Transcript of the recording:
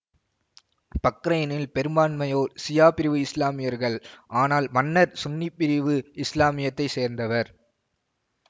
பக்ரைனில் பெரும்பான்மையோர் சியா பிரிவு இசுலாமியர்கள் ஆனால் மன்னர் சுன்னி பிரிவு இசுலாமியத்தை சேர்ந்தவர்